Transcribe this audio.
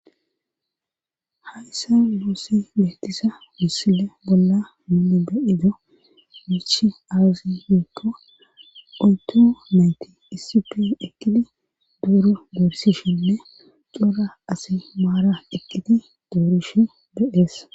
Hayssa luossi meettisa wussile bolla muunu beyido michi aazi hikko oyto mayti isipi ekkidi duuro gorsishinne cora asi maara ekkidi doorish be'ees.